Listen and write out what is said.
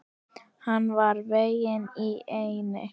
Hann var veginn í eynni.